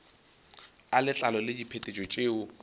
a letlalo le diphetetšo tšeo